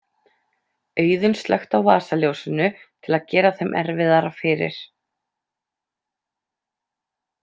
Auðunn slökkti á vasaljósinu til að gera þeim erfiðara fyrir.